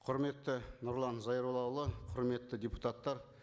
құрметті нұрлан зайроллаұлы құрметті депутаттар